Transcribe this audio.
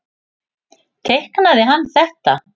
Teiknaði hann þetta?